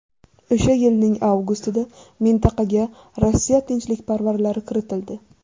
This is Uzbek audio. O‘sha yilning avgustida mintaqaga Rossiya tinchlikparvarlari kiritildi.